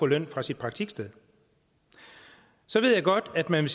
løn fra sit praktiksted så ved jeg godt at man